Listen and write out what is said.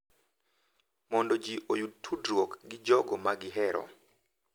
Mondo ji oyud tudruok gi jogo ma gihero.